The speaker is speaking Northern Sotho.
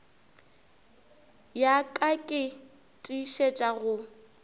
ya ka ke tiišetša go